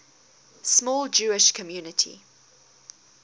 small jewish community